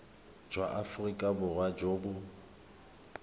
jwa aforika borwa jo bo